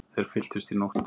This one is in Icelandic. Þeir fylltust í nótt.